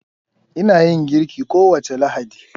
Ina yin girki kowace Lahadi.